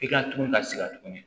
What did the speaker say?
I ka tugun ka sigi tuguni